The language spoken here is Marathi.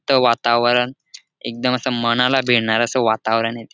त वातावरण एकदम असं मनाला भिडणार असं वातावरण ए ते.